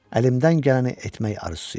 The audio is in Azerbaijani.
Əlimdən gələni etmək arzusu idi.